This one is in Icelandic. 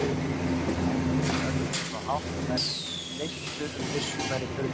Þar risu öldurnar svo hátt að þær freyddu um byssurnar í turninum.